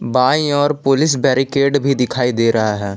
By और police barricade भी दिखाई दे रहा है।